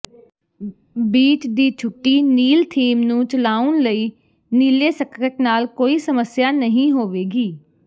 beach ਦੀ ਛੁੱਟੀ ਨੀਲ ਥੀਮ ਨੂੰ ਚਲਾਉਣ ਲਈ ਨੀਲੇ ਸਕਰਟ ਨਾਲ ਕੋਈ ਸਮੱਸਿਆ ਨਹੀਂ ਹੋਵੇਗੀ